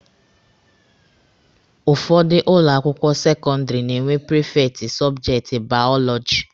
Ụfọdụ ụlọ akwụkwọ sekọndịrị na-enwe prifekti sọbjekti baọlọjị.